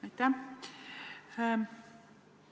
Aitäh!